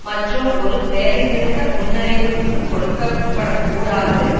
மற்றும் ஒரு வேலை நிறுத்த முன்னறிவிப்பு கொடுக்கப்படக்கூடாது